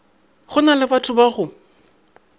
go na lebatho ba go